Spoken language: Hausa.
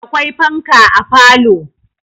Akwai fanka a falo.